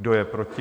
Kdo je proti?